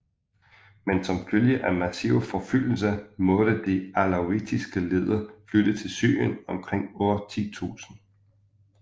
Men som følge af massive forfølgelser måtte de alawitiske ledere flytte til Syrien omkring år 1000